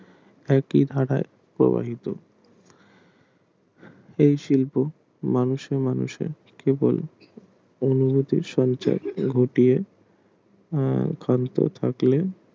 একই ধারা প্রভাবিত এই শিল্প মানুষে মানুষে কেবল অনুভূতি সঞ্চার করে কান্ত থাকে